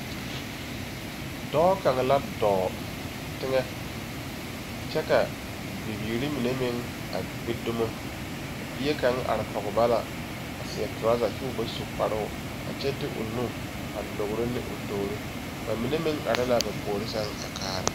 Dɔɔ kaŋa la dɔɔ, teŋɛ. Kyɛ ka bibiiri mine meŋ a gbi dumo. A bie kaŋ are kɔge ba la a seɛ torazɛ kyoo ba su kparoo a kyɛ de o nu a logro ne o toori. Ba mine meŋ are la ba puori sɛŋ a kaara.